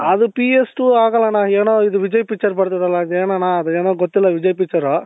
ಅದು PSದು ಆಗಲ್ಲ ಅಣ್ಣ ಏನೋ ಇದು ವಿಜಯ್ picture ಬರ್ತದೆ ಅಲ್ಲ ಅದು ಏನಣ್ಣ ಅದು ಏನೋ ಗೊತ್ತಿಲ್ಲ ವಿಜಯ್ picture